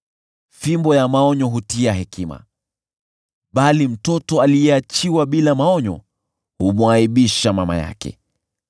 Fimbo ya maonyo hutia hekima, bali mtoto aliyeachiwa bila maonyo humwaibisha mama yake.